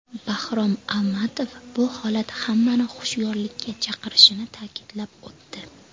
Bahrom Almatov bu holat hammani hushyorlikka chaqirishini ta’kidlab o‘tdi.